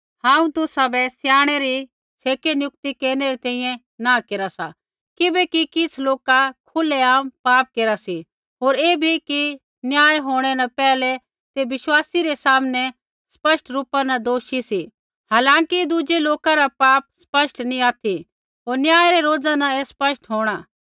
हांऊँ तुसाबै स्याणै री छ़ेकै नियुक्ति केरनै री तैंईंयैं नाँह केरा सा किबैकि किछ़ लोका खुलेआम पाप केरा सी होर ऐ भी कि न्याय होंणै न पैहलै ते विश्वासी रै सामनै स्पष्ट रूपा न दोषी सी हालांकि दुज़ै लोका रा पाप स्पष्ट नैंई ऑथि होर न्याय रै रोज़ा न ही स्पष्ट होंणै